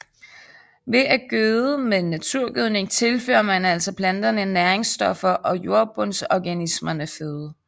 Ved at gøde med naturgødning tilfører man altså planterne næringsstoffer og jordbundsorganismerne føde